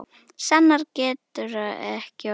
Sannara getur það ekki orðið.